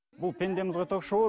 бұл пендеміз ғой ток шоуы